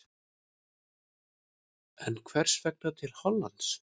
En hvers vegna til Hollands?